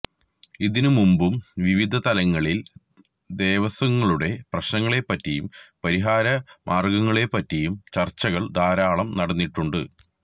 ഇതിനുമുമ്പും വിവിധ തലങ്ങളില് ദേവസ്വങ്ങളുടെ പ്രശ്നങ്ങളെപ്പറ്റിയും പരിഹാരമാര്ഗങ്ങളെപ്പറ്റിയും ചര്ച്ചകള് ധാരാളം നടന്നിട്ടുണ്ട്